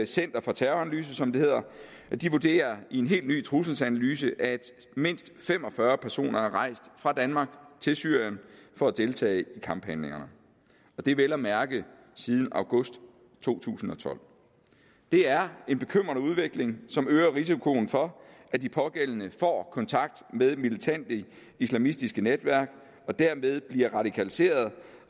center for terroranalyse som det hedder vurderer i en helt ny trusselsanalyse at mindst fem og fyrre personer er rejst fra danmark til syrien for at deltage i kamphandlingerne og det vel at mærke siden august to tusind og tolv det er en bekymrende udvikling som øger risikoen for at de pågældende får kontakt med militante islamistiske netværk og derved bliver radikaliseret